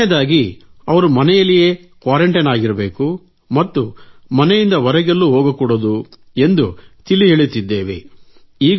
2 ನೇ ದಾಗಿ ಅವರು ಮನೆಯಲ್ಲೇ ಕ್ವಾರೆಂಟೈನ್ ಆಗಿರಬೇಕು ಮತ್ತು ಮನೆಯಿಂದ ಹೊರಗೆಲ್ಲೂ ಹೋಗಕೂಡದು ಎಂದು ತಿಳಿಹೇಳುತ್ತಿದ್ದೇವೆ